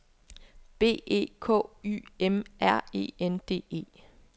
B E K Y M R E N D E